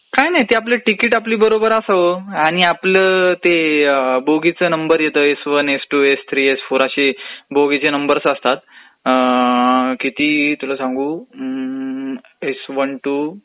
काही नाही ते आपलं तिकीट आपल्या बरोबर असावं आणि आपला ते बोगीचा नंबर येतो एस वरनं S one, S two, S three, S four असे बोगीचे नंबर असतात आ...आ...किती तुला सांगू अम्म्म्म ....एस वन, टू,